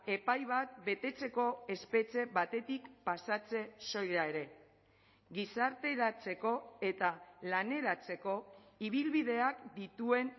epai bat betetzeko espetxe batetik pasatze soila ere gizarteratzeko eta laneratzeko ibilbideak dituen